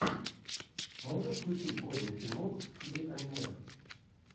можешь включить годный фильмок в стиле аниме